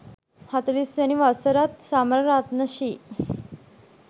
හතළිස් වැනි වසරත් සමරන රත්න ශ්‍රී